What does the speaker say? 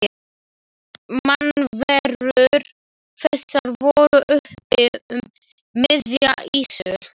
Mannverur þessar voru uppi um miðja ísöld.